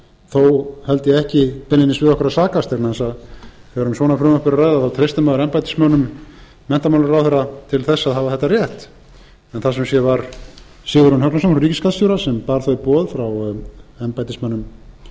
þó held ég ekki beinlínis við okkur að sakast vegna þess að þegar um svona frumvörp er að ræða treystir maður embættismönnum menntamálaráðherra til þess að hafa þetta rétt það var sum sé sigurjón högnason hjá ríkisskattstjóra